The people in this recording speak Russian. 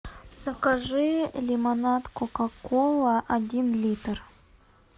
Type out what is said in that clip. закажи лимонад кока кола один литр